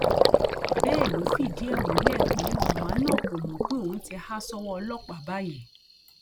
bẹẹ ló fìdí ẹ múlẹ pé màmá náà kò mọ pé òun ti há sọwọ ọlọpàá báyìí